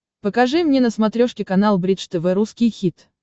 покажи мне на смотрешке канал бридж тв русский хит